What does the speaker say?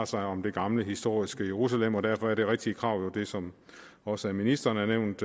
sig om det gamle historiske jerusalem og derfor er det rigtige krav jo det som også ministeren har nævnt